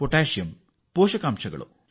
ಯ ಬಗ್ಗೆ ಚೆನ್ನಾಗಿ ತಿಳಿದಿದೆ